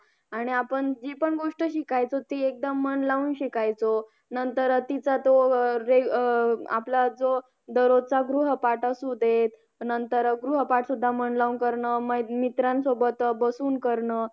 आणि आपण जी पण गोष्ट शिकायचो ती एकदम मन लावून शिकायचो नंतर अं तिचा तो अह जे अह आपला जो दररोजचा गृहपाठ असू देत नंतर अह गृहपाठ सुद्धा मन लावून करण मै मित्रांसोबत अं बसून करण